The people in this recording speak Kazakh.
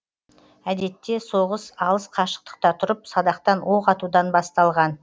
әдетте соғыс алыс қашықтықта тұрып садақтан оқ атудан басталған